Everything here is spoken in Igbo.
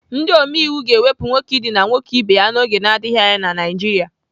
Ndị omeiwu ga-ewepụ nwoke idina nwoke ibe ya n'oge na-adịghị anya na Naijiria.